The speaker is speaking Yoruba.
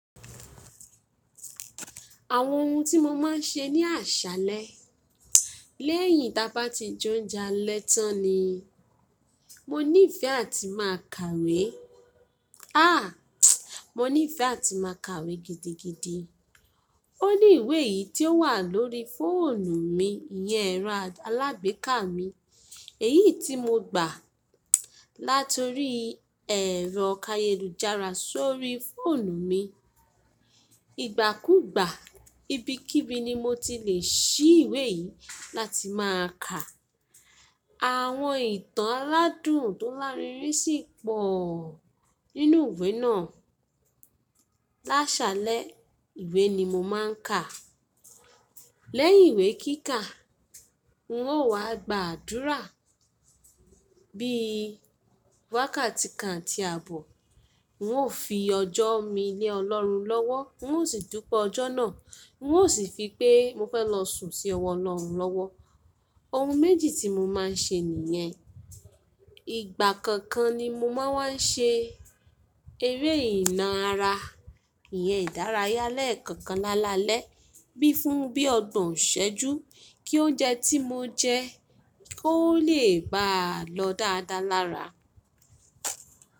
Àwọn ohun tí mo máa ń ṣe ní àṣálẹ́ lẹ́yìn tí a bá ti jẹ oúnjẹ alẹ́ tán ni. Mo nífẹ́ àti máa kàwé. Àh! Mo nífẹ́ àti máa kàwé gidigidi. Ó ní ìwé yìí tí ó wà lórí fóònù mi, ìyẹn ẹ̀rọ alágbèéká mi, èyí tí mo gbà láti orí ẹ̀rọ kayedujara sórí fóònù mi. Igbàkúgbà ibikíbi ni mo ti lè ṣí ìwé yìí láti máa kà. Àwọn ìtàn aládùn tó lárinrin sì pọ̀ nínú ìwé náà. Lásálẹ́ ìwé ni mo máa ń kà. Lẹ́yìn ìwé kíkà, n ó wá gba àdúrà bí wákàtí kan àti àbọ̀. N ó fi ọjọ́ mi lé Ọlọ́run lọ́wọ́, n ó sì dupe ọjọ́ náà, n ó sì fi pé mo fẹ́ lọ sùn sí ọwọ́ Ọlọ́run lọ́wọ́. Ohun méjì tí mo máa ń ṣe nìyẹn. Ìgbà kookan ni mo máa wa ń wá ṣe eré ìná ara. Ìyẹn ìdárayá lẹ́ekookan lálalẹ́, bí fún bí ọgbọ̀n iṣẹ́jú kí oúnjẹ tí mo jẹ kó lè baà lọ dáadáa lára.